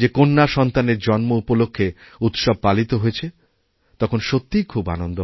যে কন্যাসন্তানের জন্ম উপলক্ষে উৎসব পালিত হয়েছে তখন সত্যিই খুব আনন্দহয়